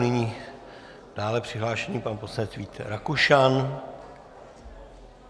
Nyní dále přihlášený pan poslanec Vít Rakušan.